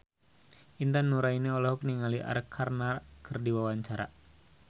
Intan Nuraini olohok ningali Arkarna keur diwawancara